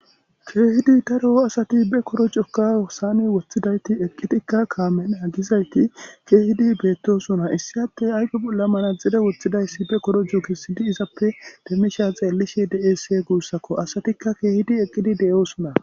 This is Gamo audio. keehidi taro7o asati be korocokka osaane woththidayti eqqitikka kaamenna gizayti keehidi beettosona issi atte ayfe bolla manazide woththidayssi be koroju kissidi izappe demmisha xeellishe deese guussakko asatikka keehidi eqqidi de7oosona